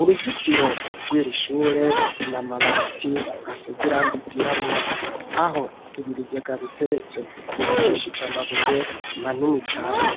uruzitiro rw'iri shure na mabati asezirangi vyirabura aho ibi bigega biteretse hubakishije amabuye manini cane.